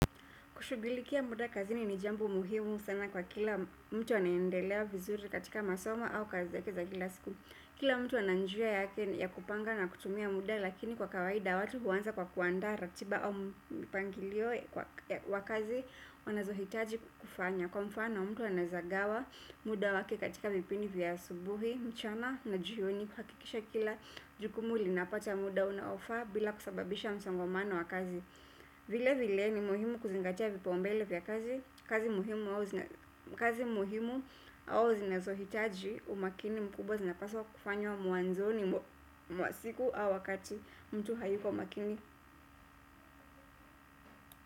Kushughuilikia muda kazini ni jambo muhimu sana kwa kila mtu anaendelea vizuri katika masoma au kazi zake za kila siku. Kila mtu ana njia yake ya kupanga na kutumia muda lakini kwa kawaida watu huanza kwa kuandaa ratiba au mipangilio kwa kazi wanazohitaji kufanya. Kwa mfano, mtu anawezagawa muda wake katika vipindi vya asubuhi, mchana na jioni kuhakikisha kila jukumu linapata muda unaofaa bila kusababisha msongomano wa kazi. Vile vile ni muhimu kuzingatia vipaumbele vya kazi muhimu au zinazohitaji umakini mkubwa zinapaswa kufanywa mwanzoni mwa siku au wakati mtu hayuko makini.